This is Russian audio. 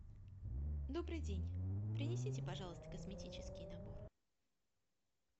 добрый день принесите пожалуйста косметический набор